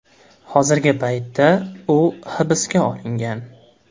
Hozirgi paytda u hibsga olingan.